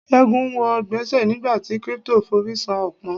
Ségun wo gbèsè nígbà tí crypto forí sàn pọ́n.